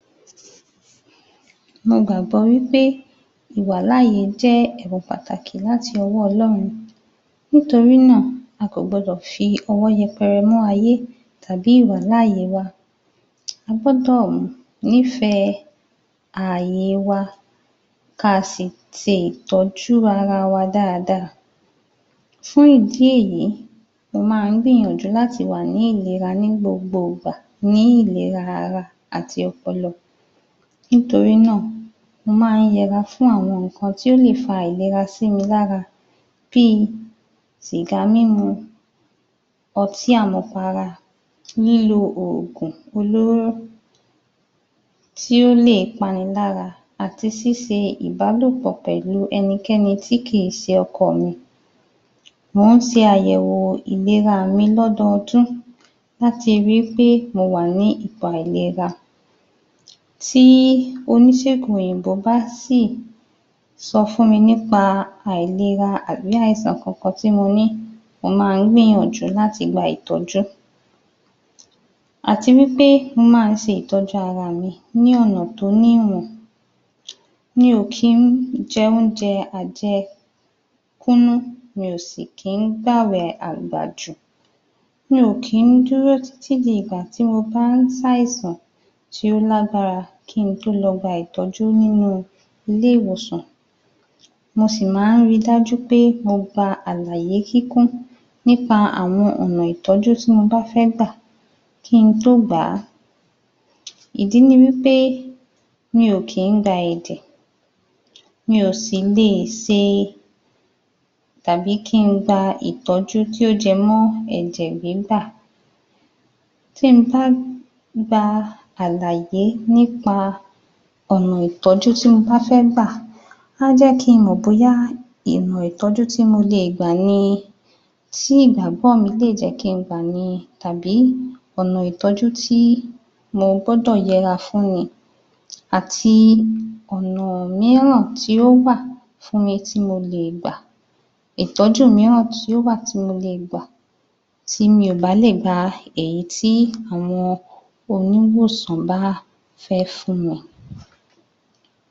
Mo gbàgbọ́ wípé ìwàláyè jẹ́ ẹ̀bùn pàtàkì láti ọwọ́ Ọlọ́run. NÍtorínà, a kò gbodò fi ọwọ́ yẹpẹrẹ mú ayẹ́ tàbí ìwàláyè wa. A gbodò nífẹ̀ẹ́ ààye wa, kaà sì tiì tọ́jú ara wa dáadáa. Fún ìdí èyí, mo ma ń gbìyànjú láti wà ní ìlera ní gbogbo ìgbà, ní ìlera ara àti ọpọlọ. NÍtorínà, mo ma ń yẹra fún áwọn tó lè fa aìlera sí mi lára bíi sìgá mímu, ọtí àmupara, lílo òògùn olóró, tí ó lè panilára àti ṣíse ìbálòpò pẹ̀lu ẹnikẹ́ni tí kìí ṣe ọkọọ̀ mi. Mò ń ṣe àyẹ̀wò ìlera mi l'ọ́dọọdún láti ri pé mo wà ní ipò àìlera. Tí oníṣègùn òyìnbó bá sì ṣọ fún mi nípa àìlera àbí àìsàn kankan tí mo ní, mo máa ń gbìyànjú láti gba ìtọ́jú. Àti wípé mo máa ń ṣe ìtọ́jú ara mi ní ọ̀nà tó ní ìwọ̀. Mi ò kín jẹ oúnje àjẹ kúnnú, mi ò sì kín gbàwẹ̀ àgbàjù. Mi ò kí dúrò títí di ìgbàtí mo bá ń ṣ'àìsàn tó l'àgbàra kín in tó lọ gba ìtọ́jú nínú ile-ìwòsàn. Mo sì maá ń ri dájú pé mo gba àlàyé kíkún nípa àwọn ọ̀nà ìtọ́jú tí mo bá fẹ́ gbà kín in tó gbàá. Ìdí ni wípé mi ò kìí gba ẹ̀jẹ̀, mi ò sì leè ṣe, tàbí kín in gba ìtọ́jú tó jẹ mó ẹ̀jè gbígbà. Tí n bá gba àlàyé nípa ọ̀nà ìtọ́jú tí mo bá fẹ́ gbà, aá jẹ́ kín in mọ̀ bóyá ọ̀nà ìtọ́jú tí mo leè gbà ni, tí ìgbàgbọ́ mi lè jẹ́ kín in gbà ni, tàbí ọ̀nà ìtọ́jú tí mo gbọ́dọ̀ yẹra fún ni. Àti ọ̀nà míràn tí ó wà fún mi, tí mo leè gbà, ìtọ́jú míràn tí ó wà tí mo leè gbà, tí mi ò bá lè gba èyítí àwọn oníwòsàn bá fẹ́ fún mi.